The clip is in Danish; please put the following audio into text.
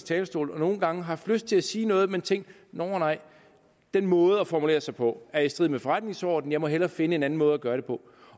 talerstol og nogle gange haft lyst til at sige noget men tænkt nåh nej den måde at formulere sig på er i strid med forretningsordenen jeg må hellere finde en anden måde at gøre det på